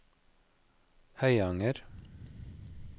Høyanger